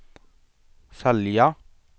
sälja